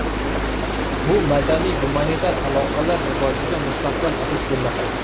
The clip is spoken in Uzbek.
Bu madaniy-gumanitar aloqalar rivojiga mustahkam asos bo‘lmoqda.